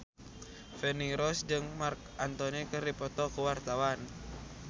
Feni Rose jeung Marc Anthony keur dipoto ku wartawan